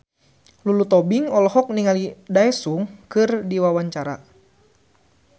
Lulu Tobing olohok ningali Daesung keur diwawancara